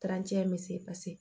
in bɛ se